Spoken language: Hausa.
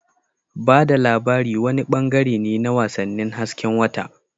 Ba da labari wani bangare ne na wasannin hasken wata.